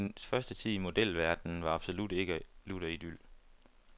Hendes første tid i modelverdenen var absolut ikke lutter idyl.